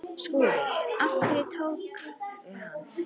SKÚLI: Hverjir tóku hann?